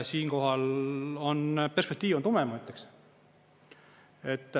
Siinkohal on perspektiiv tume, ma ütleks.